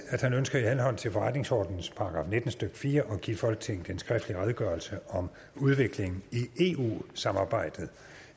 at han ønsker i henhold til forretningsordenens § nitten stykke fire at give folketinget en skriftlig redegørelse om udviklingen i eu samarbejdet